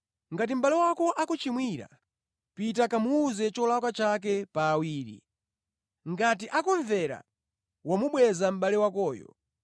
“Ngati mʼbale wako akuchimwira, pita kamuwuze cholakwa chake pa awiri. Ngati akumvera, wamubweza mʼbale wakoyo.